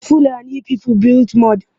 The Fulani people built mud.